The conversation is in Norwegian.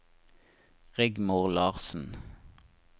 Rigmor Larssen